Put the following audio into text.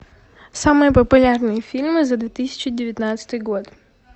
самые популярные фильмы за две тысячи девятнадцатый год